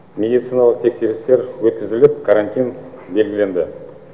медициналық тексерістер өткізіліп карантин белгіленді